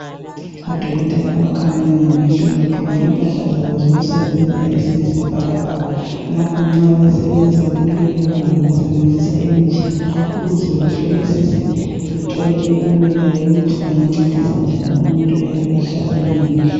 Odokotela abakhangela ngamehlo begqoke impahla zabo zokusebenza eziyisibhakabhaka. Lapho nxa besebenza kulelo gumbi basebenslzisa imitshina ukuze behlolisise bethole impumela yokuthi bengancedisa njani umuntu oyabe ehlaselwe ngamehlo.